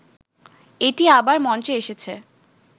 এটি আবার মঞ্চে এসেছে